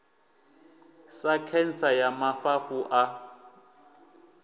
sa khentsa ya mafhafhu a